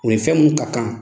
U ni fɛn minnu ka kan.